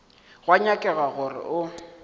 go a nyakega gore go